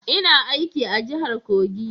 Ina aiki a jahar Kogi